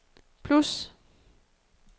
plus